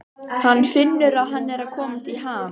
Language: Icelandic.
Hann finnur að hann er að komast í ham.